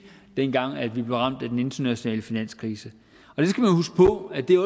dengang vi blev ramt af den internationale finanskrise